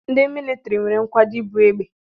Ndị militiri nwere nkwado ibu egbe.